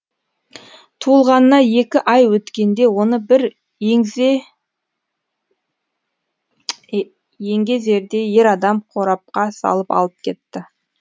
туылғанына екі ай өткенде оны бір еңгезердей ер адам қорапқа салып алып кетті